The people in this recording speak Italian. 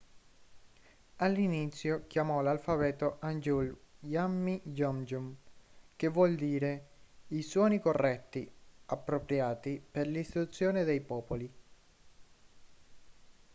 all'inizio chiamò l'alfabeto hangeul hunmin jeongeum che vuol dire i suoni corretti/appropriati per l'istruzione dei popoli